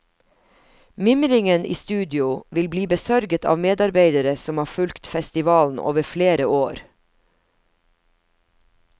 Mimringen i studio vil bli besørget av medarbeidere som har fulgt festivalen over flere år.